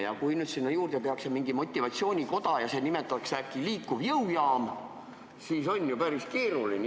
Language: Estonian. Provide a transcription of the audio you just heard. Ja kui nüüd tehakse mingi motivatsioonikoda ja see nimetatakse äkki liikuvaks jõujaamaks, siis on ju päris keeruline.